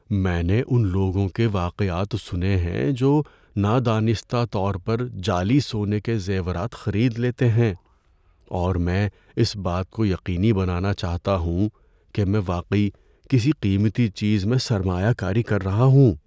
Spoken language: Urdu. میں نے ان لوگوں کے واقعات سنے ہیں جو نادانستہ طور پر جعلی سونے کے زیورات خرید لیتے ہیں، اور میں اس بات کو یقینی بنانا چاہتا ہوں کہ میں واقعی کسی قیمتی چیز میں سرمایہ کاری کر رہا ہوں۔